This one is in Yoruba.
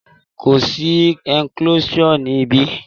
Kò sí enclosure ní ibí.